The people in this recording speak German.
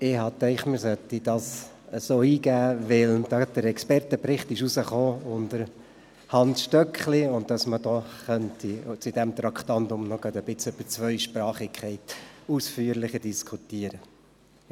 Ich habe diesen Antrag eingereicht, weil der Expertenbericht unter der Ägide von Hans Stöckli erschienen ist und die Zweisprachigkeit deshalb etwas ausführlich diskutiert werden sollte.